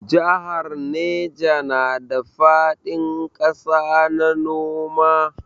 Jahar Neja na da faɗin ƙasa na noma.